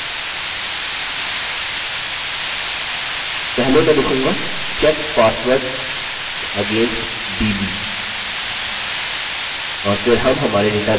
पहले मैं लिखूँगा check password against db और फिर हम हमारे डेटाबेस से कनेक्ट होंगे